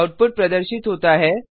output प्रदर्शित होता है